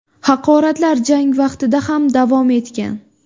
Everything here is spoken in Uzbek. Haqoratlar jang vaqtida ham davom etgan.